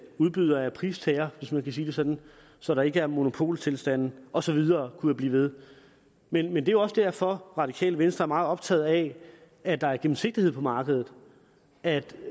udbyder er pristager hvis man kan sige det sådan så der ikke er monopoltilstande og så videre kunne blive ved men men det er også derfor radikale venstre er meget optaget af at der er gennemsigtighed på markedet at